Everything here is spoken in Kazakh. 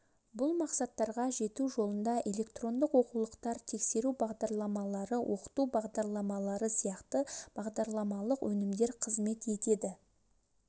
бұл мақсаттарға жету жолында электрондық оқулықтар тексеру бағдарламалары оқыту бағдарламалары сияқты бағдарламалық өнімдер қызмет етеді